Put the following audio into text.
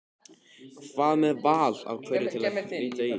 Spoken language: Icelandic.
Hvað með val á hverfi til að flytja í?